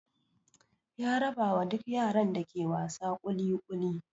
Ya rabawa duk yaran da ke wasa kuli kuli.